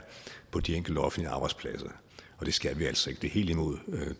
på de enkelte offentlige arbejdspladser det skal vi altså ikke det er helt imod